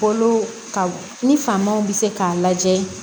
Kolo ka ni famanw bɛ se k'a lajɛ